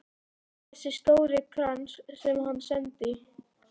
Þessi stóri krans sem hann sendi.